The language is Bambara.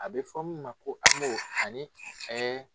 A bɛ fɔ min ma ko AMO ani ɛɛ